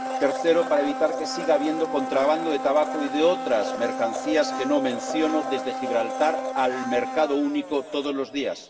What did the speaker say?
tercero, para evitar que siga habiendo contrabando de tabaco y de otras mercancías —que no menciono— desde Gibraltar al mercado único todos los días